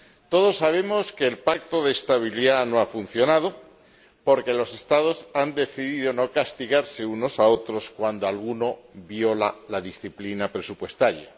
Todos sabemos que el Pacto de Estabilidad no ha funcionado porque los Estados han decidido no castigarse unos a otros cuando alguno viola la disciplina presupuestaria.